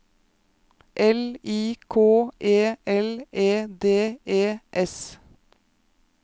L I K E L E D E S